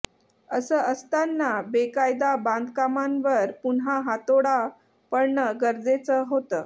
असं असताना बेकायदा बांधकामांवर पुन्हा हातोडा पडणं गरजेचं होतं